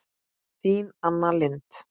Þín Anna Lind.